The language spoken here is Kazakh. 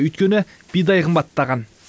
өйткені бидай қымбаттаған